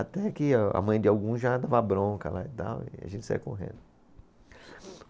Até que a mãe de algum já dava bronca lá e tal e a gente saía correndo.